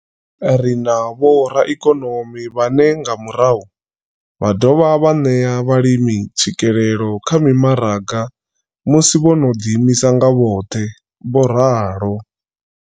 Ri na vhoraikonomi vhane nga murahu vha ḓo dovha vha ṋea vhalimi tswikelelo kha mimaraga musi vho no ḓiimisa nga vhoṱhe. vho ralo.